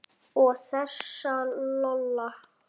Og þessa Lola.